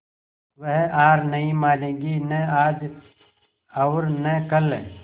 वह हार नहीं मानेगी न आज और न कल